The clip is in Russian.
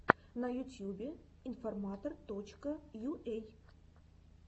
на ютьюбе информатор точка юэй